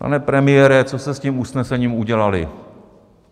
Pane premiére, co jste s tím usnesením udělali?